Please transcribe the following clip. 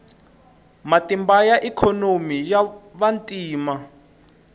matimba ka ikhonomi ya vantima